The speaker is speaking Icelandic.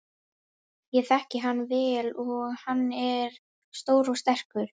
Ég þekki hann vel og hann er stór og sterkur.